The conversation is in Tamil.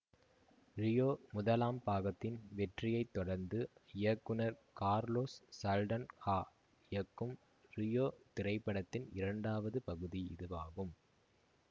ரியோ முதலாம் பாகத்தின் வெற்றியை தொடர்ந்து இயக்குனர் கார்லோஸ் சல்டன்ஹா இயக்கும் ரியோ திரைபடத்தின் இரண்டாவது பகுதி இதுவாகும்